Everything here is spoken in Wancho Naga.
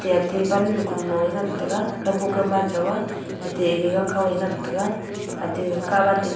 jatte ate pannu kunu a ngan tega kawboh kawmai jaw aa tete ege gang kho a ngan tega ate katvan ding--